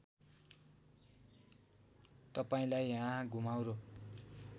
तपाईँंलाई यहाँ घुमाउरो